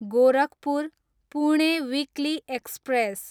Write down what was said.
Gorakhpur, Pune weekly express